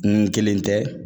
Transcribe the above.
N kelen tɛ